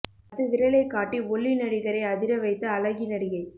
பத்து விரலை காட்டி ஒல்லி நடிகரை அதிர வைத்த அழகி நடிகை